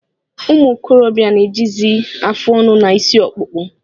Ụmụ okorobịa na-ejizi afụ ọnụ na isi akpukpo